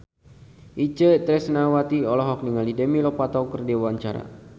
Itje Tresnawati olohok ningali Demi Lovato keur diwawancara